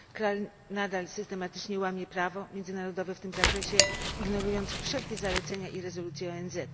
Kraj nadal systematycznie łamie prawo międzynarodowe w tym zakresie, ignorując wszelkie zalecenia i rezolucje ONZ.